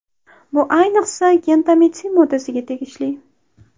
Bu ayniqsa, gentamitsin moddasiga tegishli.